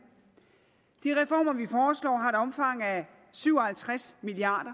de reformer vi af syv og halvtreds milliard